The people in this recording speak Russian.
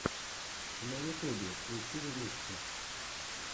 на ютубе включи ремиксы